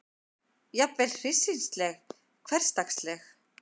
Jafnvel hryssingsleg, hversdagsleg.